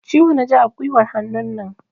Ciwo na ji a guiwar hannunan.